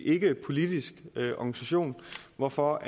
ikkepolitisk organisation hvorfor